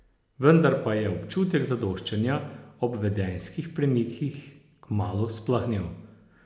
Vendar pa je občutek zadoščenja ob vedenjskih premikih kmalu splahnel.